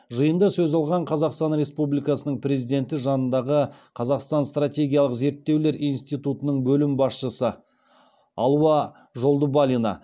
жиында сөз алған қазақстан республикасының президенті жанындағы қазақстан стратегиялық зерттеулер институтының бөлім басшысы алуа жолдыбалина